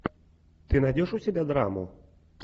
ты найдешь у себя драму